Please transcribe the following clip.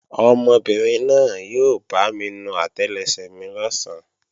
Ọmọbìnrin náà yóò bámi nu àtẹlẹsẹ̀ mi lọ̀sán